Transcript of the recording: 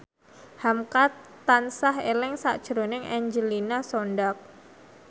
hamka tansah eling sakjroning Angelina Sondakh